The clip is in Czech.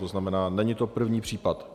To znamená, není to první případ.